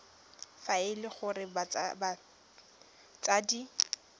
fa e le gore batsadi